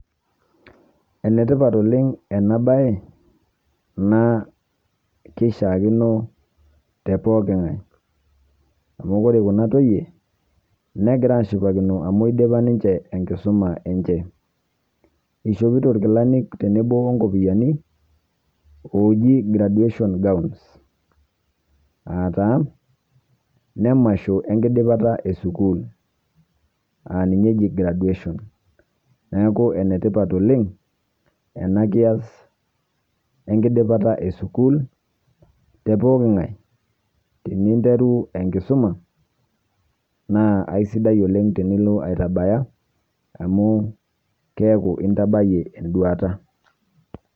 Ene tipat oleng' ena baye naa kishaakino te pooki nkae amu kore kuna toyie negira aashipakino amu idipa ninje enkisuma enje. Ishopito irkilani tenebo o nkopiani ooji graduation gowns aa taa ine masho enkidipata e sukuul, aa ninye eji graduation. Neeku ene tipat oleng' ena kias enkidipata e sukuul te pooki nkae. Teninteru enkisuma naa aisidai oleng' tenilo aitabaya amu keeku intabayie enduata.